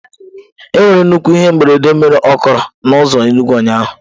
Enwere nnukwu ihe mberede mere okoro na ụzọ Enugwu ụnyahụ.